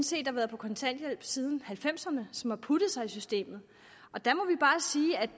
set har været på kontanthjælp siden halvfemserne som har puttet sig i systemet